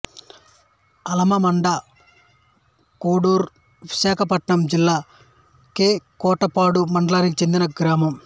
అలమండకోడురు విశాఖపట్నం జిల్లా కె కోటపాడు మండలానికి చెందిన గ్రామం